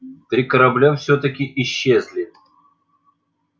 три корабля всё-таки исчезли